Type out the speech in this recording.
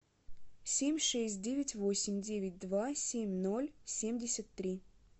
семь шесть девять восемь девять два семь ноль семьдесят три